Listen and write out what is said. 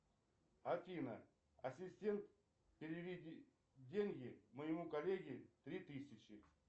афина ассистент переведи деньги моему коллеге три тысячи